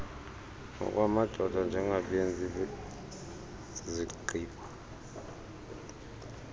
nokwamadoda njengabenzi zigqibp